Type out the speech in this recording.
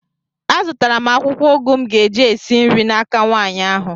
Azụtara m akwụkwọ ụgụ m ga-eji esi nri n'aka nwaanyị ahụ